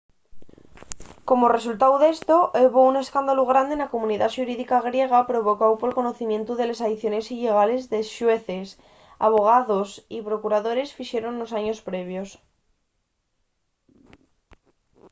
como resultáu d’esto hebo un escándalu grande na comunidá xurídica griega provocáu pol conocimientu de les aiciones illegales que xueces abogaos y procuradores fixeron nos años previos